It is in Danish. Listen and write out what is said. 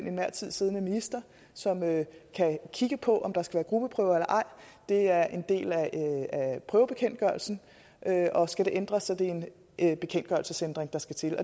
enhver tid siddende minister som kan kigge på om der skal være gruppeprøver eller ej det er en del af prøvebekendtgørelsen og skal det ændres er det en bekendtgørelsesændring der skal til